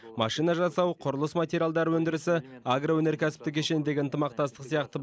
машина жасау құрылыс материалдары өндірісі агроөнеркәсіптік кешендегі ынтымақтастық сияқты